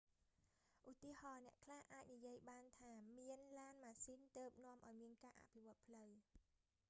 ឧទាហរណ៍ អ្នកខ្លះអាចនិយាយបានថា មានឡានម៉ាស៊ីនទើបនាំឱ្យមានការអភិវឌ្ឍន៍ផ្លូវ